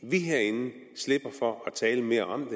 vi herinde slipper for at tale mere om